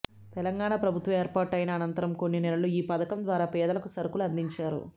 తెలంగాణ ప్రభుత్వం ఏర్పాటు ఆయిన ఆనంతరం కొన్ని నెలలు ఈ పథకం ద్వారా పేదలకు సరుకులు ఆందించారు